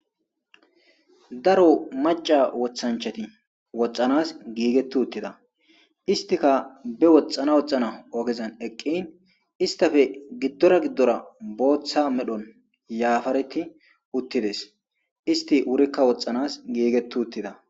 Daro maca wothanchati woxxanas giigettu uttida istika be woxxana woxna ogezan eqqin istafe giddora giddora booththa medhon yaafareti uttides isti wurikka woxxanas giigettu uttida.